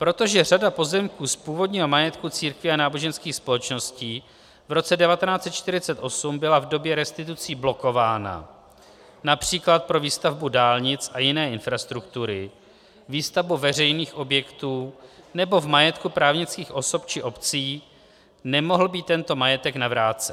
Protože řada pozemků z původního majetku církví a náboženských společností v roce 1948 byla v době restitucí blokována, například pro výstavbu dálnic a jiné infrastruktury, výstavbu veřejných objektů nebo v majetku právnických osob či obcí, nemohl být tento majetek navrácen.